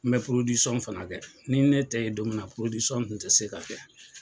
N bɛ fana kɛ ni ne tɛ ye don min na dun tɛ se ka kɛ.